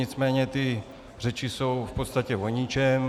Nicméně ty řeči jsou v podstatě o ničem.